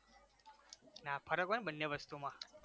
ના ફરક હોય ને બંને વસ્તુમાં